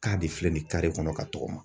K'a de filɛ nin ye kare kɔnɔ ka tɔgɔma.